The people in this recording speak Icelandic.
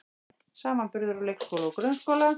Samanburður á leikskóla og grunnskóla